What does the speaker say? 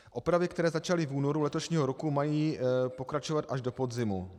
Opravy, které začaly v únoru letošního roku, mají pokračovat až do podzimu.